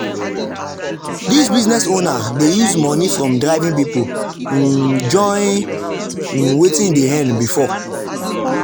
the business owner dey use money from driving people um join um wetin e dey earn before.